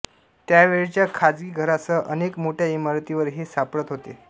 त्यावेळच्या खाजगी घरांसह अनेक मोठ्या इमारतींवर हे सापडत होते